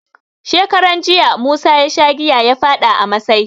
Shekaran jiya, musa ya sha giya ya faɗa a masai.